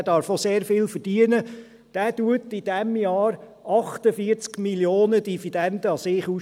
er darf auch sehr viel verdienen – schüttet dieses Jahr 48 Mio. Franken an Dividenden an sich aus.